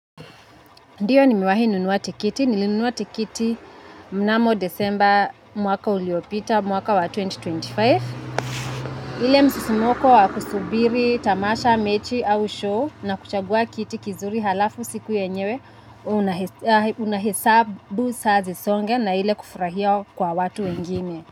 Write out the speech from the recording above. Ndiyo nimewahi nunua tikiti. Nili nunuwa tikiti mnamo Desember mwaka uliopita mwaka wa elfu mbili na ishirini na tano. Ile msisimoko wa kusubiri tamasha, mechi au show na kuchagua kiti kizuri halafu siku yenyewe unahisabu saa zisonge na ile kufurahia kwa watu wengine.